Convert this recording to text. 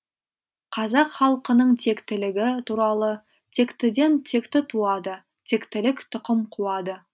қазақ халқының тектілігі туралы тектіден текті туады тектілік тұқым қуады